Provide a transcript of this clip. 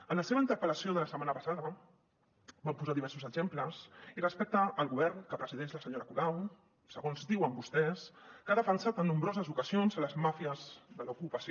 en la seva interpel·lació de la setmana passada van posar diversos exemples i respecte al govern que presideix la senyora colau segons diuen vostès que ha defensat en nombroses ocasions les màfies de l’ocupació